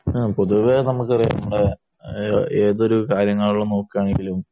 പൊതുവേ നമ്മക്കറിയാം നമ്മളെ ഏതൊരു കാര്യം നോക്കുകയാണെങ്കിലും